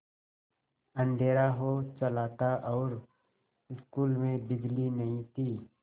अँधेरा हो चला था और स्कूल में बिजली नहीं थी